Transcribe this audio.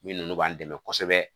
Minnu b'an dɛmɛ kosɛbɛ